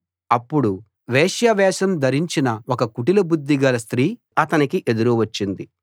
అప్పుడు వేశ్య వేషం ధరించిన ఒక కుటిల బుద్ధిగల స్త్రీ అతనికి ఎదురు వచ్చింది